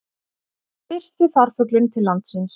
Fyrsti farfuglinn til landsins